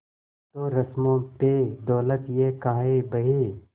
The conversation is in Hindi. तो रस्मों पे दौलत ये काहे बहे